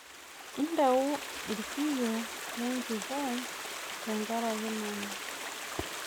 Entau irkiio lenjipai tenkaraki nanu